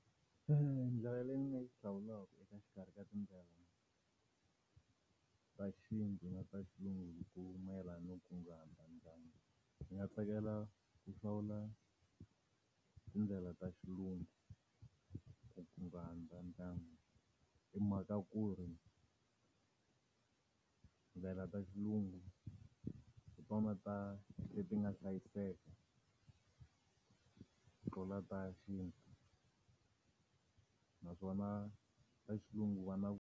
Ndlela leyi nga yi hlawulaka eka xikarhi ka tindlela ta xintu na ta xilungu hi ku mayelana no kunguhata ndyangu ndzi nga tsakela ku hlawula tindlela ta xilungu ku kunguhata ndyangu. Hi mhaka ku ri tindlela ta xilungu hi tona ta leti nga hlayiseka tlula ta xintu. Naswona ta xilungu va na.